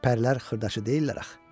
Pərilər xırdaçı deyillər axı.